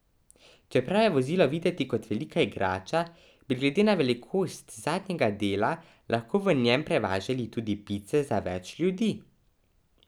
Čeprav je vozilo videti kot velika igrača, bi glede na velikost zadnjega dela lahko v njem prevažali tudi pice za več ljudi.